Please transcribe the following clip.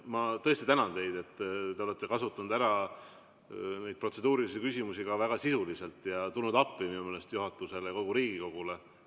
Ma tõesti tänan teid, et te olete kasutanud ära neid protseduurilisi küsimusi ka väga sisuliselt ja tulnud appi minu meelest juhatusele ja kogu Riigikogule.